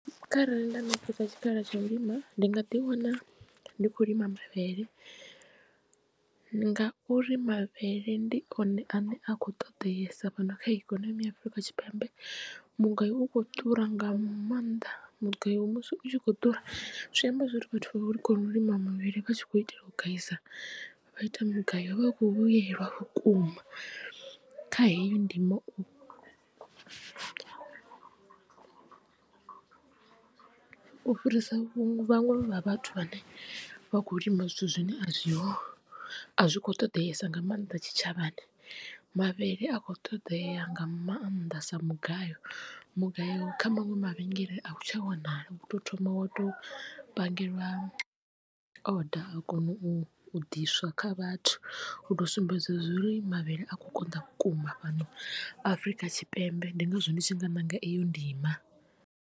Kharali nda ṋekedzwa tshikhala tsha u lima ndi nga ḓi wana ndi khou lima mavhele ngauri mavhele ndi one ane a khou ṱoḓeesa fhano kha ikonomi ya Afurika Tshipembe mugayo u kho ḓura nga maanḓa. Mugayo musi u tshi kho ḓura zwi amba zwori vhathu vha kona u lima mavhele vha tshi khou itela u gaisa vha ita mugayo o vha a khou vhuyelwa vhukuma kha heyo ndimo. U fhirisa vhuṅwe vhaṅwe vha vhathu vhane vha kho lima zwithu zwine a zwi a zwi kho ṱoḓeesa nga maanda tshitshavhani mavhele a kho ṱoḓea nga maanḓa sa mugayo. Mugayo kha maṅwe mavhengele a u tsha wanala u to thoma wa to pangeliwa order wa kona u ḓiswa kha vhathu u to u sumbedza uri mavhele a kho konḓa vhukuma fhano afrika tshipembe ndi ngazwo ndi tshi nga ṋanga iyo ndima.